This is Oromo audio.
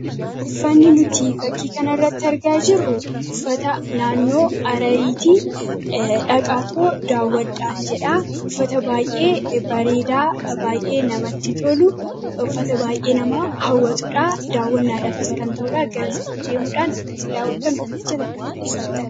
Uffanni nuti fakkii kana irratti argaa jirru uffata naannoo Harariitii dhaqaa too daawwadhaan jedha. uffata baay'ee bareedaa baay'ee namatti tolu uffata baay'ee nama hawwatuudhaa. Daawwannaadhafis kan ta'uudhaa garasa deemuudhaan akkasiin daawwattan uffaticha akka uffatta.